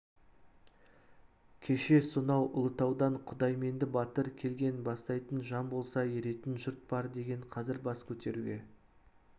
кеше сонау ұлытаудан құдайменді батыр келген бастайтын жан болса еретін жұрт бар деген қазір бас көтеруге